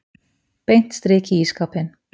Beint strik í ísskápinn.